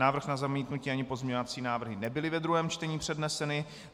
Návrh na zamítnutí ani pozměňovací návrhy nebyly ve druhém čtení předneseny.